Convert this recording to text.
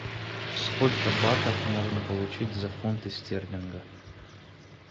сколько батов можно получить за фунты стерлинга